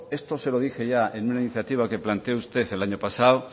esto se lo dije ya en una iniciativa que planteo usted el año pasado